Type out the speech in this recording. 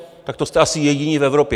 Tak to jste asi jediní v Evropě.